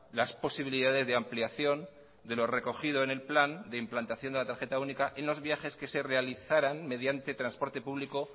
las posibilidades de ampliación de lo recogido en el plan de implantación de la tarjeta única en los viajes que se realizaran mediante transporte público